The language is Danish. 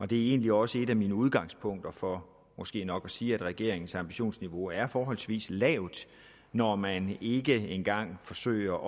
det er egentlig også et af mine udgangspunkter for måske nok at sige at regeringens ambitionsniveau er forholdsvis lavt når man ikke engang forsøger